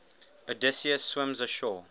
odysseus swims ashore